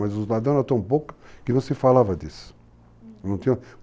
Mas os ladrões eram tão poucos que não se falava disso. Uhum.